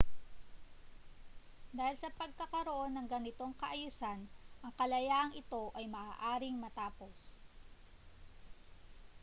dahil sa pagkakaroon ng ganitong kaayusan ang kalayaang ito ay maaaring matapos